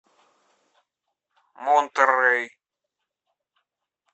монтеррей